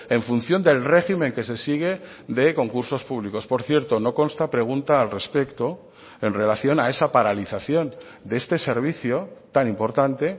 en función del régimen que se sigue de concursos públicos por cierto no consta pregunta al respecto en relación a esa paralización de este servicio tan importante